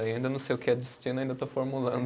Ainda não sei o que é destino, ainda estou formulando.